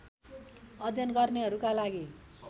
अध्ययन गर्नेहरुका लागि